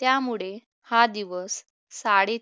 त्यामुळे हा दिवस साडीत